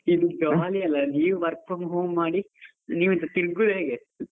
Jolly ಅಲ್ಲ ನೀವು work from home ಮಾಡಿ, ನೀವ್ ಎಂತ ತಿರ್ಗುದ ಹೇಗೆ.